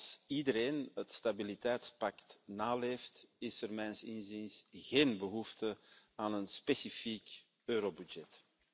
Als iedereen het stabiliteitspact naleeft, is er mijns inziens geen behoefte aan een specifieke eurobegroting.